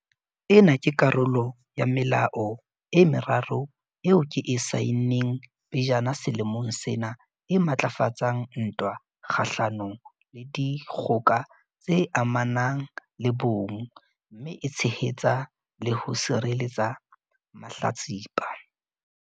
Ena ke karolo ya melao e meraro eo ke e saenneng pejana selemong sena e matlafatsang ntwa kgahlano le dikgoka tse amanang le bong mme e tshehetsa le ho sireletsa mahlatsipa.